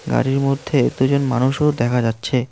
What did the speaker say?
গাড়ির মধ্যে এতজন মানুষও দেখা যাচ্ছে।